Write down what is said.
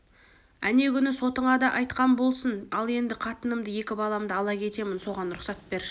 әне күні сотыңа да айтқам болсын ал енді қатынымды екі баламды ала кетемін соған рұқсат бер